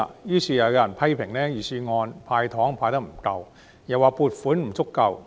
於是，又有人批評預算案"派糖"派得不夠，又指撥款不足夠。